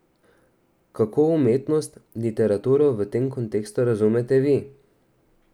Kako umetnost, literaturo v tem kontekstu razumete vi?